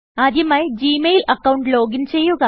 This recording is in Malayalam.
ആദ്യമായി ജി മെയിൽ അക്കൌണ്ട് ലോഗിൻ ചെയ്യുക